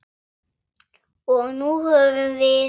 Og nú höfum við